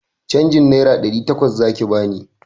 Canjin naira ɗari takwas zaki bani!